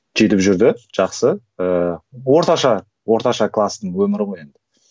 жетіп жүрді жақсы ыыы орташа орташа кластың өмірі ғой енді